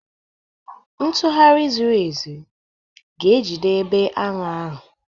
Ntugharị zuru ezu ga-ejide ebe agha ahụ.